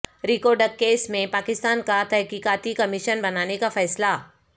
Reko Diq case میں پاکستان کا تحقیقاتی کمیشن بنانے کا فیصلہ